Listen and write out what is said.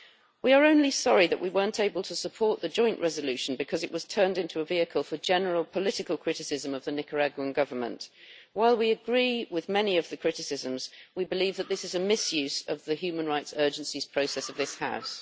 We are only sorry that we were not able to support the joint resolution because it was turned into a vehicle for general political criticism of the Nicaraguan Government. While we agree with many of the criticisms, we believe that this is a misuse of the human rights urgencies process of this House.